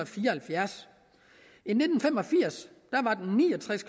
fire og halvfjerds i nitten fem og firs